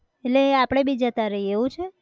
એટલે આપણે બી જતા રહીએ એવું છે!